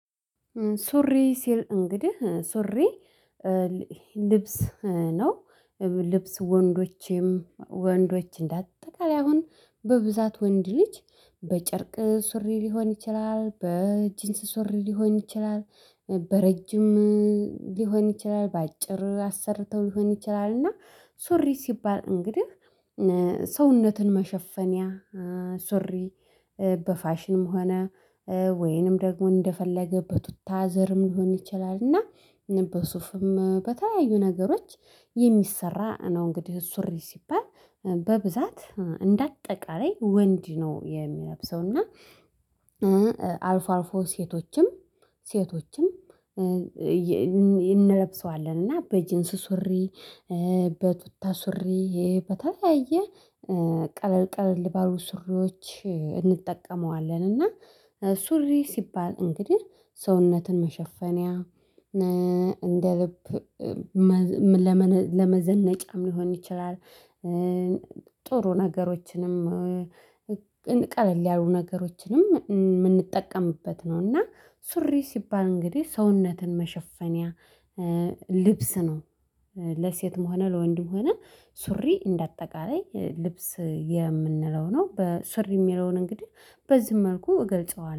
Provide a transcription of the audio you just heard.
ሱሪ ሲል እንግዲህ ሱሪ ልብስ ነው። ልብስ ወንዶችም ወንዶች እንዳጠቃላይ አሁን በብዛት ወንድ ልጅ በጨርቅ ሱሪ ሊሆን ይችላል በጂንስ ሱሪ ሊሆን ይችላል። በረጅም ሊሆን ይችላል በአጭር አሰርተው ሊሆን ይችላል እና ሱሪ ሲባል እንግዲህ ሰውነትን መሸፈኒያ ሱሪ። በፋሽንም ሆነ ወይንም ደግሞ እንደፈለገበት በቱታ ዘርም ሊሆን ይችላል እና በሱፍም በተለያዩ ነገሮች የሚሰራ ነው። እንግዲህ ሱሪ ሲባል በብዛት እንደ አጠቃላይ ወንድ ነው የሚለብሰው እና። አልፎ አልፎ ሴቶችም ሴቶችም እንለብሰዋለን እና በጅንስ ሱሪ በቱታ ሱሪ በተለያየ ቀለል ቀለል ባሉ ሱሪዎች እንጠቀመዋለን። እና ሱሪ ሲባል እንግዲህ ሰውነትን መሸፈንያ እንደ ልብ ለመዘነጫ ሊሆን ይችላል። ጥሩ ነገሮችንም እንቀ ቀለል ያሉ ነገሮችንም የምንጠቀምበት ነው። እና ሱሪ ሲባል እንግዲህ ሰውነትን መሸፈንያ ልብስ ነው። ለሴትም ሆነ ለወንድ ሆነ ሱሪ እንደ አጠቃላይ ልብስ የምንለው ነው በስር የሚለውን እንግዲህ በዚህ መልኩ እገልጸዋለሁ